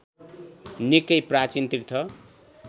निकै प्राचीन तीर्थ